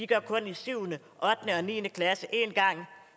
kun i 7 ottende og niende klasse